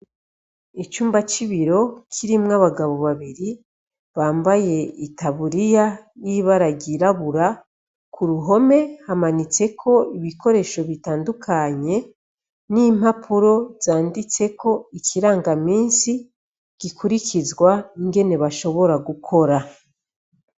Icumba cibiro kirimwo abagabo babiri bambaye itaburiya yibara ryirabura kuruhome hamanitseko ibikoresho bitandukanye nimpapuro canditseko ikirangaminsi gikurikizwa ingene bashobora gukora